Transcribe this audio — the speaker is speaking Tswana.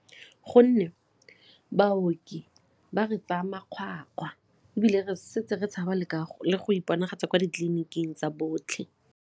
Gonne baoki ba re tsaya makgwakgwa ebile re setse re tshaba le go iponagatse kwa ditleliniking tsa botlhe.